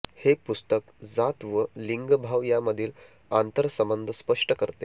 हे पुस्तक जात व लिंगभाव या मधील आंतरसंबंध स्पष्ट करते